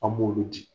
An b'olu di